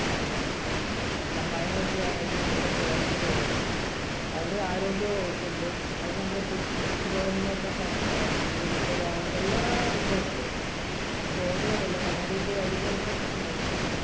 സഹായങ്ങൾ ചെയ്യാനായിട്ട് നമ്മുടെ government ഇവിടുണ്ട്. അതിന് ആരോഗ്യവകുപ്പ് ഉണ്ട്. അതിനു നമ്മുടെ കൃഷിഭവൻ എന്ന് പറഞ്ഞ, ഇത് നമ്മുടെ വ ~ എല്ലാം ഇവിടുണ്ട്. എന്റെ ചോദ്യം അതല്ല. നമ്മുടെ ഇപ്പോ വരുന്നതെന്തെന്ന് വച്ചിട്ടുണ്ടെങ്കി,